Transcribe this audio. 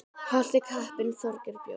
Í Holti kappinn Þorgeir bjó.